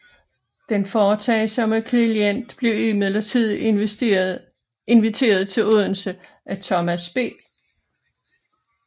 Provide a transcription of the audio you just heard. Den foretagsomme Klint blev imidlertid inviteret til Odense af Thomas B